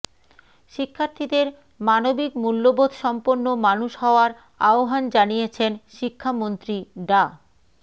শিক্ষার্থীদের মানবিক মূল্যবোধসম্পন্ন মানুষ হওয়ার আহ্বান জানিয়েছেন শিক্ষামন্ত্রী ডা